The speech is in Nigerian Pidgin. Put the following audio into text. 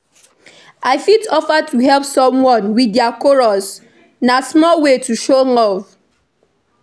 I fit offer to help someone with dia chores; na small way to show love.